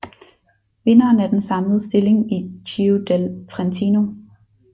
Vinderen af den samlede stilling i Giro del Trentino